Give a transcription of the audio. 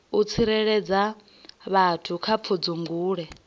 u tsireledza vhathu kha pfudzungule